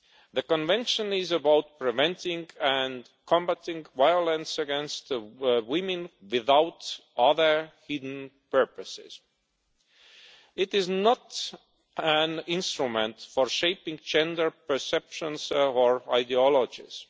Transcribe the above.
The Convention is about preventing and combating violence against women without other hidden purposes. It is not an instrument for shaping gender perceptions or ideologies.